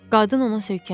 Qadın ona söykənmişdi.